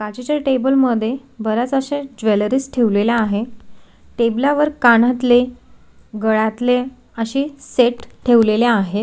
बाजुच्या टेबल मध्ये बर्याच अशा ज्वलेरीस ठेवलेल्या आहे टेबलावर कानातले गळ्यातले अशे सेट ठेवलेले आहे.